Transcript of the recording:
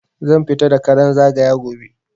Zan fita da karan zagaya gobe